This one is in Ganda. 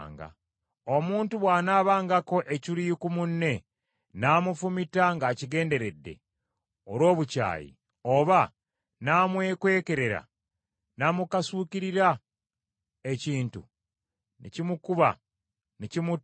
Omuntu bw’anaabangako ekiruyi ku munne n’amufumita ng’akigenderedde, olw’obukyayi, oba n’amwekwekerera n’amukasuukirira ekintu ne kimukuba ne kimutta,